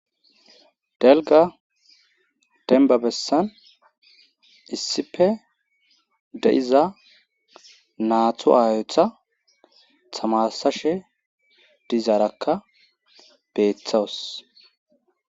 delga denba bessan issife de7iza naatu aayotha tamasashe dizaarakka beeththawus